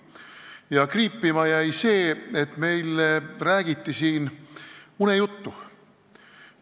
Ja kriipima jäi see, et meile räägiti siin unejuttu.